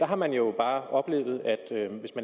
har man jo bare oplevet